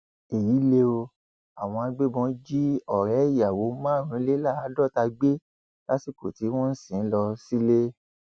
èyí lè o àwọn agbébọn jí ọrẹ ìyàwó márùnléláàádọta gbé lásìkò tí wọn ń sìn ín lọ sílé